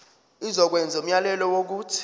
izokwenza umyalelo wokuthi